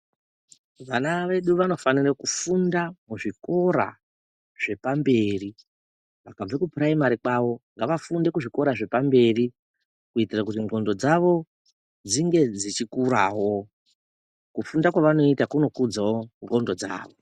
Vana vedu vanofanire kufunda kuzvikora zvepamberi vakabva kupuraimari kwavo ngavafunde muzvikora zvepamberi kuitira kuti ndxondo dzawo dzinge dzichikurawo, kufunda kwavanoita kunokudzawo ndxondo dzavo